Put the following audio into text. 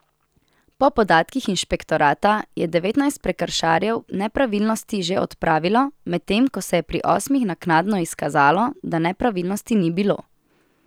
Po podatkih inšpektorata je devetnajst prekrškarjev nepravilnosti že odpravilo, medtem ko se je pri osmih naknadno izkazalo, da nepravilnosti ni bilo.